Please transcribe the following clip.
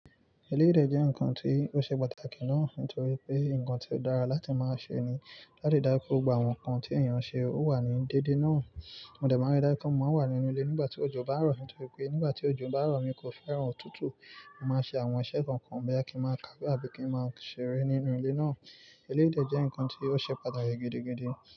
Eléyìí dẹ̀ jẹ́ nǹkan tí ó ṣe pàtàkì náà nítorí pé nǹkan tí ó dára láti máa ṣe ni á dẹ̀ dára kí gbogbo àwọn nǹkan tí èèyàn ṣe ó wà ní dédé náà. Mo dẹ máa ń rí dájú pe, mo máa ń wà nínú ilé nígbà tí òjò bá rọ̀ nítorí pé nígbà tí òjò bá rọ̀, mi kò fẹ́ràn òtútù. Mo máa ń ṣe àwọn iṣẹ́ kọ̀ọ̀kan boya kí ń máa kawe abí kí ń máa ṣeré nínú ilé náà. Eléyìí dẹ jẹ́ nǹkan tí ó ṣe pàtàkì gidigidi.